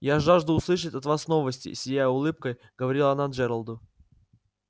я жажду услышать от вас новости сияя улыбкой говорила она джералду